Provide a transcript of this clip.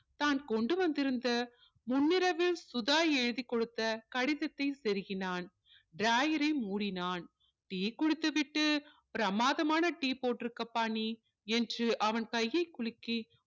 தான் கொண்டு வந்திருந்த முன்னிரவில் சுதா எழுதிக் கொடுத்த கடிதத்தை செருகினான் drawer ரை முடினான் tea குடித்துவிட்டு பிரமாதமான tea போட்டிருக்கப்பா நீ என்று அவன் கையை குழுக்கி